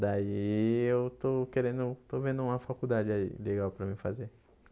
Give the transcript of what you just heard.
Daí eu estou querendo, estou vendo uma faculdade aí legal para mim fazer.